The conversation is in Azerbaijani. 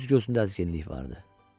Üz-gözündə əzginlik vardı.